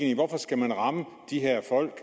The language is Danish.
i hvorfor skal man ramme de her folk